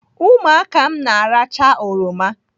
Ụmụaka m na-arachaa oroma.